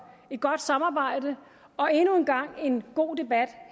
et godt samarbejde og endnu en gang en god debat